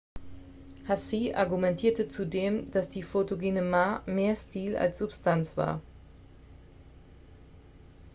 hsieh argumentierte zudem dass die photogene ma mehr stil als substanz war